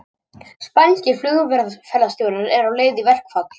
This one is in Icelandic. Eflaust hefur það líka hjálpað Vigdísi að hún var þekktur menningarfrömuður á Íslandi.